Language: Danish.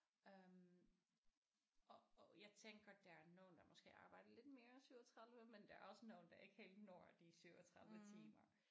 Øh og og jeg tænker der er nogen der måske arbejder lidt mere end 37 men der er også nogen der ikke helt når de 37 timer